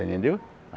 Você entendeu?